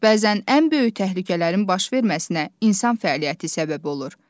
Bəzən ən böyük təhlükələrin baş verməsinə insan fəaliyyəti səbəb olur.